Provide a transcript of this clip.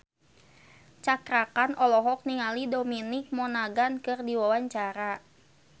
Cakra Khan olohok ningali Dominic Monaghan keur diwawancara